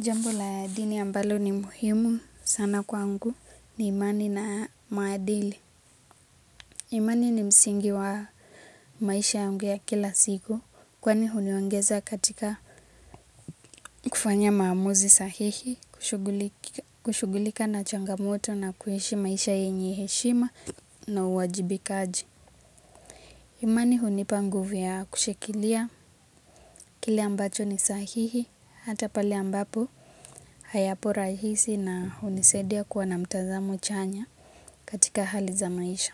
Jambo la dini ambalo ni muhimu sana kwangu ni imani na maadili. Imani ni msingi wa maisha yange ya kila siku kwani huniongeza katika kufanya maamuzi sahihi kushugulika na changamoto na kuishi maisha yenye heshima na uwajibikaji. Imani hunipa nguvu ya kushikilia kile ambacho ni sahihi hata pale ambapo hayapo rahisi na hunisaidia kuwa na mtazamo chanya. Katika hali za maisha.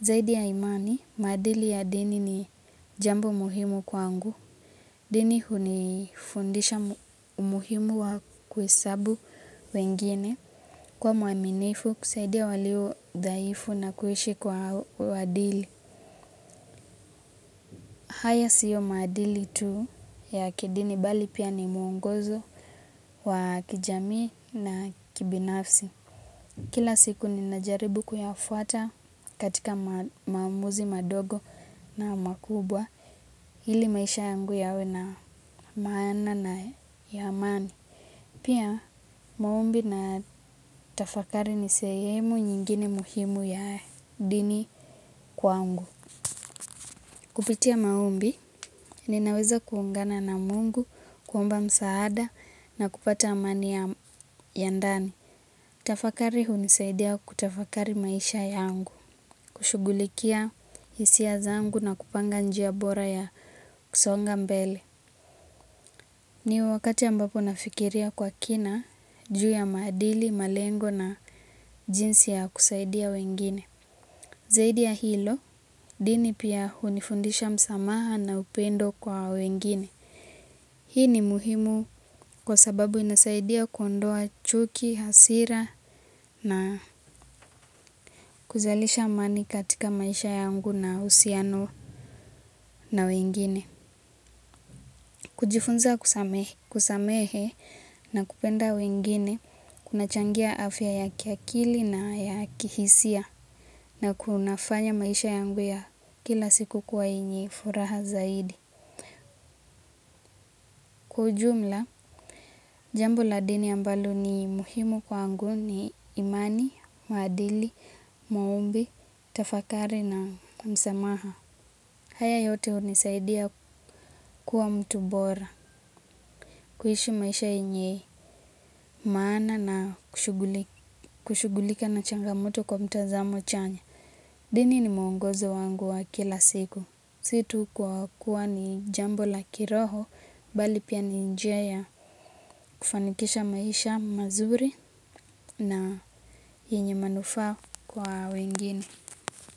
Zaidi ya imani, madili ya dini ni jambo muhimu kwangu. Dini hunifundisha umuhimu wa kuhesabu wengine. Kuwa mwaminifu kusaidia waliodhaifu na kuishi kwa uwaadili. Haya sio maadili tu ya kidini bali pia ni mwongozo wa kijamii na kibinafsi. Kila siku ninajaribu kuyafuata katika maamuzi madogo na makubwa ili maisha yangu yawe na maana na ya amani. Pia maombi na tafakari ni sehemu nyingine muhimu ya dini kwangu. Kupitia maombi ninaweza kuungana na Mungu, kuomba msaada na kupata amani ya ndani. Kutafakari hunisaidia kutafakari maisha yangu, kushugulikia hisia zangu na kupanga njia bora ya kusonga mbele. Ni wakati ambapo nafikiria kwa kina juu ya maadili, malengo na jinsi ya kusaidia wengine. Zaidi ya hilo, dini pia hunifundisha msamaha na upendo kwa wengine. Hii ni muhimu kwa sababu inasaidia kuondoa chuki, hasira na kuzalisha amani katika maisha yangu na uhusiano na wengine. Kujifunza kusamehe na kupenda wengine, kunachangia afya ya kiakili na ya kihisia na kunafanya maisha yangu ya kila siku kuwa yenye furaha zaidi. Kwa ujumla, jambo la dini ambalo ni muhimu kwangu ni imani, maadili, maombi, tafakari na msamaha. Haya yote hunisaidia kuwa mtu bora, kuishi maisha yenye, maana na kushugulika na changamoto kwa mtazamo chanya. Dini ni mwongozo wangu wa kila siku. Si tu kwa kuwa ni jambo la kiroho bali pia ni njia ya kufanikisha maisha mazuri na yenye manufaa kwa wengine.